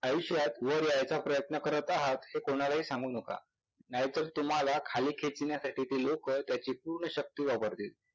आयुष्यात वर यायचा प्रयत्न करत आहात हे कोणालाही सांगू नका नाहीतर तुम्हाला खाली खेचण्यासाठी ते लोकं त्याची पूर्ण शक्ती वापरतील.